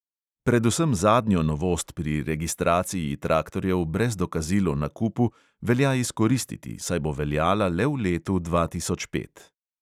Predvsem zadnjo novost pri registraciji traktorjev brez dokazil o nakupu velja izkoristiti, saj bo veljala le v letu dva tisoč pet.